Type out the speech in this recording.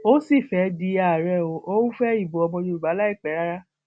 ó sì fẹẹ di àárẹ o ò ń fẹ ìbò ọmọ yorùbá láìpẹ rárá